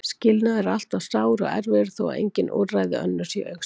Skilnaður er alltaf sár og erfiður þó að engin úrræði önnur séu í augsýn.